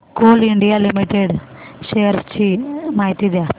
Coal India limited shares ची माहिती द्या